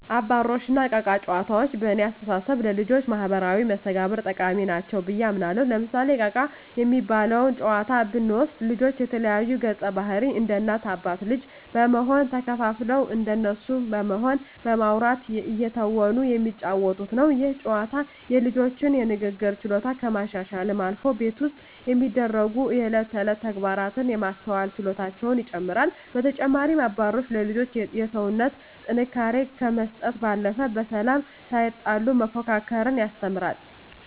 አባሮሽ እና እቃ እቃ ጨዋታዎች በእኔ አስተሳሰብ ለልጆች ማህበራዊ መስተጋብር ጠቃሚ ናቸው ብየ አምናለሁ። ለምሳሌ እቃ እቃ የሚባለውን ጨዋታ ብንወስድ ልጆች የተለያዩ ገፀባህርይ እንደ እናት አባት ልጅ በመሆን ተከፋፍለው እንደነሱ በመሆን በማዉራት እየተወኑ የሚጫወቱት ነው። ይህ ጨዋታ የልጆቹን የንግግር ችሎታ ከማሻሻልም አልፎ ቤት ውስጥ የሚደሰጉ የእለት ተእለት ተግባራትን የማስተዋል ችሎታቸውን ይጨመራል። በተጨማሪም አባሮሽ ለልጆች የሰውነት ጥንካሬ ከመስጠት ባለፈ በሰላም ሳይጣሉ መፎካከርን ያስተምራል።